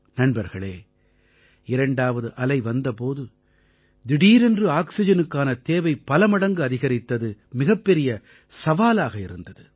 நண்பர்களே இரண்டாவது அலை வந்த போது திடீரென்று ஆக்சிஜனுக்கான தேவை பல மடங்கு அதிகரித்தது மிகப்பெரிய சவாலாக இருந்தது